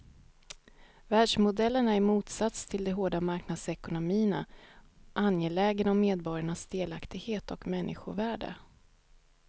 Välfärdsmodellen är i motsats till de hårda marknadsekonomierna angelägen om medborgarnas delaktighet och människovärde.